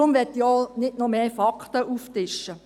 Deshalb will ich gar nicht noch mehr Fakten aufzutischen.